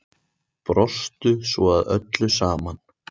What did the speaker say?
Brostu svo að öllu saman.